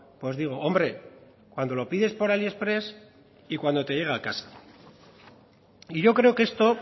pues digo hombre cuando lo pides por aliexpress y cuando te llega a casa y yo creo que esto